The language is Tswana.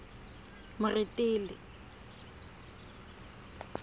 moretele